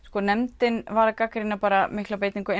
sko nefndin var að gagnrýna bara miklar beitingu